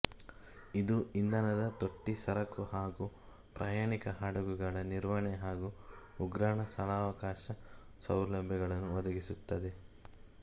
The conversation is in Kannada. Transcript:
ಇದು ಇಂಧನ ತೊಟ್ಟಿ ಸರಕು ಹಾಗು ಪ್ರಯಾಣಿಕ ಹಡಗುಗಳ ನಿರ್ವಹಣೆ ಹಾಗು ಉಗ್ರಾಣ ಸ್ಥಳಾವಕಾಶ ಸೌಲಭ್ಯಗಳನ್ನು ಒದಗಿಸುತ್ತದೆ